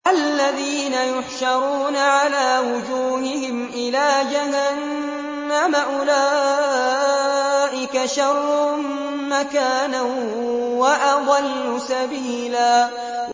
الَّذِينَ يُحْشَرُونَ عَلَىٰ وُجُوهِهِمْ إِلَىٰ جَهَنَّمَ أُولَٰئِكَ شَرٌّ مَّكَانًا وَأَضَلُّ سَبِيلًا